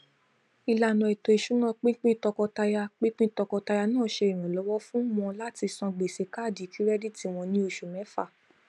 ìlànà ètò ìṣúná pínpín tọkọtaya pínpín tọkọtaya náà ṣe iranlọwọ fún wọn láti san gbèsè káàdì kirẹditi wọn ní oṣù mẹfà